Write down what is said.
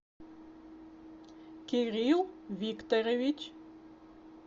кирилл викторович